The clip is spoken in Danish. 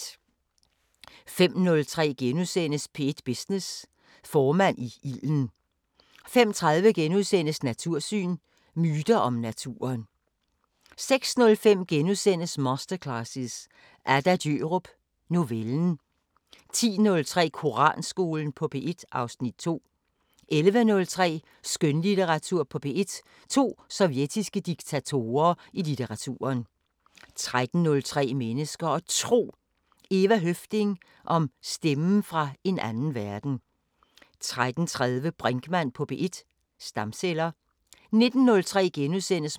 05:03: P1 Business: Formand i ilden * 05:30: Natursyn: Myter om naturen * 06:05: Masterclasses – Adda Djørup: Novellen * 10:03: Koranskolen på P1 (Afs. 2) 11:03: Skønlitteratur på P1: To sovjetiske diktatorer i litteraturen 13:03: Mennesker og Tro: Eva Høffding om stemmen fra en anden verden 13:30: Brinkmann på P1: Stamceller 19:03: